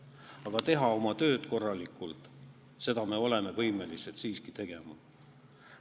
Aga teha oma tööd korralikult, selleks me oleme siiski võimelised.